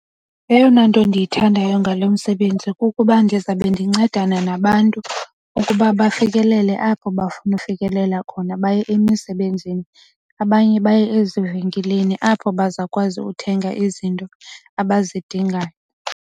Eyona nto endiyithandayo ngalo msebenzi kukuba ndizawube ndincedana nabantu ukuba bafikelele apho bafuna ukufikelela khona baye emisebenzini. Abanye baye ezivenkileni apho bazawukwazi uthenga izinto abazidingayo.